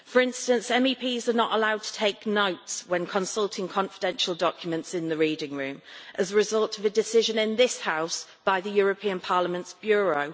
For instance, MEPs are not allowed to take notes when consulting confidential documents in the reading room as a result of a decision in this House by Parliament's Bureau.